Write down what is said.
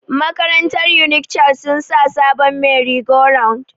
Makarantar unik child sun sa sabon meri go round